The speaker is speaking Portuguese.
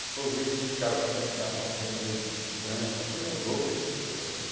Para eu ver esses cara puxando carroça aí no meio do trânsito, uma coisa louca essas coisas, né?